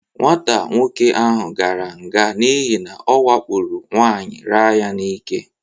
Nwata nwoke ahụ gara nga n'ihi na ọwakporo nwaanyị raa ya n'ike.